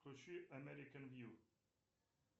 включи американ вью